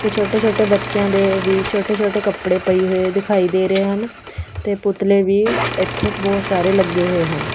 ਤੇ ਛੋਟੇ ਛੋਟੇ ਬੱਚਿਆਂ ਦੇ ਵੀ ਛੋਟੇ ਛੋਟੇ ਕੱਪੜੇ ਪਏ ਹੋਏ ਦਿਖਾਈ ਦੇ ਰਹੇ ਹਨ ਤੇ ਪੁਤਲੇ ਵੀ ਇੱਥੇ ਬਹੁਤ ਸਾਰੇ ਲੱਗੇ ਹੋਏ ਹਨ।